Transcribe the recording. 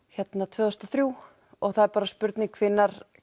tvö þúsund og þrjú og það er bara spurning hvenær